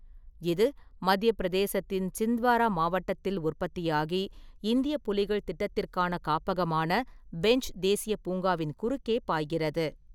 இது மத்தியப் பிரதேசத்தின் சிந்த்வாரா மாவட்டத்தில் உற்பத்தியாகி, இந்திய புலிகள் திட்டத்திற்கான காப்பகமான பென்ச் தேசிய பூங்காவின் குறுக்கே பாய்கிறது.